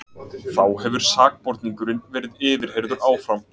Þá hefur sakborningurinn verið yfirheyrður áfram